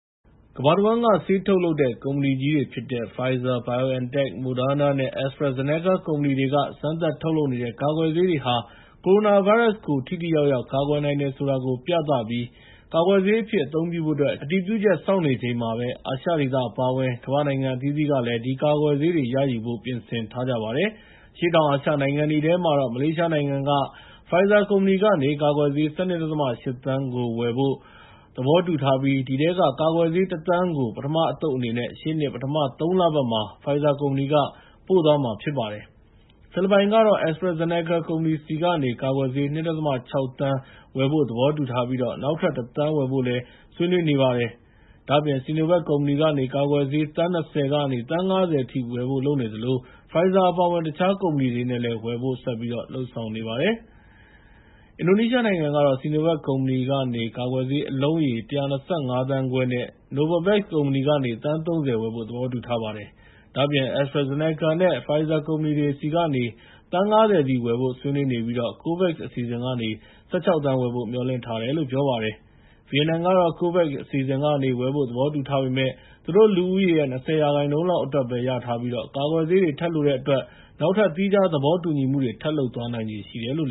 ကမ္ဘာတဝန်းက ဆေးထုတ်လုပ်တဲ့ ကုမ္ပဏီကြီးတွေဖြစ်တဲ့ Pfizer, BioNTech, Moderna နဲ့ AstraZenaca ကုမ္ပဏီတွေက စမ်းသပ်ထုတ်လုပ်နေတဲ့ ကာကွယ်ဆေးတွေဟာ ကိုရိုနာဗိုင်းရပ်စ်ကို ထိထိရောက်ရောက် ကာကွယ်နိုင်တယ်ဆိုတာကို ပြသပြီး ကာကွယ်ဆေးအဖြစ်အသုံးပြုဖို့အတွက် အတည်ပြုချက်စောင့်နေချိန်မှာပဲ အာရှဒေသအပါအဝင် ကမ္ဘာနိုင်ငံအသီးသီးကလည်း ဒီကာကွယ်ဆေးတွေကိုရယူဖို့ ပြင်ဆင်ထားကြပါတယ်။ အရှေ့တောင်အာရှနိုင်ငံတွေထဲမှာတော့ မလေးရှားနိုင်ငံက Pfizer ကုမ္ပဏီက ကာကွယ်ဆေး ၁၂.၈ သန်းကို ဝယ်ဖို့ သဘောတူထားပြီး အဲဒီထဲက ကာကွယ်ဆေး ၁,၀၀၀,၀၀၀ ကို ပထမအသုတ်အနေနဲ့ရှေ့နှစ် ပထမ ၃ လ ပတ်မှာ Pfizer ကုမ္ပဏီက ပို့သွားမှာဖြစ်ပါတယ်။ ဖိလစ်ပိုင်ကတော့ AstraZeneca ကုမ္ပဏီဆီကနေ ကာကွယ်ဆေ။ ၂.၆ သန်းဝယ်ဖို့သဘောတူထားပြီး နောက်ထပ် ၁,၀၀၀,၀၀၀ ဝယ်ဖို့လည်း ဆွေးနွေးနေပါတယ်။ ဒါ့အပြင် Sinovac ကုမ္ပဏီကနေ ကာကွယ်ဆေး သန်း ၂၀ ကနေ သန်း ၅၀ အထိ ဝယ်ဖို့လုပ်နေသလို Pfizer အပါအဝင် တခြားကုမ္ပဏီတွေကလည်း ဝယ်ဖို့လုပ်ဆောင်နေပါတယ်။ အင်ဒိုနီးရှားနိုင်ငံကတော့ Sinovac ကုမ္ပဏီကနေ ကာကွယ်ဆေးအလုံးရေ ၁၂၅ သန်းခွဲနဲ့ Novavax ကုမ္ပဏီကနေ သန်း ၃၀ ဝယ်ဖို့သဘောတူထားပါတယ်။ ဒါ့အပြင် AstraZeneca နဲ့ Pfizer ကုမ္ပဏီတွေဆီကနေ သန်း ၅၀ စီ ဝယ်ဖို့ ဆွေးနွေးနေပြီး COVAX အစီအစဉ်ကနေ ၁၆ သန်း ဝယ်ဖို့မျှော်လင့်ထားတယ်လို့ ပြောပါတယ်။ ဗီယက်နမ်နိုင်ငံကတော့ COVAX အစီအစဉ်ကနေ ဝယ်ဖို့ သဘောတူထားပေမဲ့ သူတို့ လူဦးရေရဲ့ ၂၀% လောက်အတွက်ပဲ ရထားပြီး ကာကွယ်ဆေးတွေ ထပ်လိုတဲ့အတွက် နောက်ထပ် သီးခြားသဘောတူညီမှုတွေ ထပ်လုပ်သွားနိုင်ခြေ ရှိတယ်လို့